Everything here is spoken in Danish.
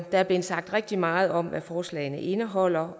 der er blevet sagt rigtig meget om hvad forslagene indeholder